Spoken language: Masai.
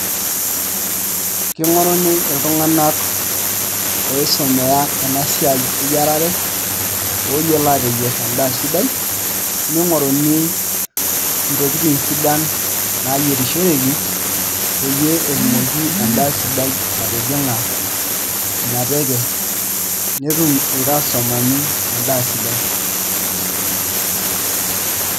King'oruni iltunganak oisumiaa ina siai eyierare ooyiolo aateyierr endaa sidai ning'oruni ntokitin sidan naayierishoreki pee etumoki endaa sidai atijing'a ina teke netum irkastomani endaa sidai.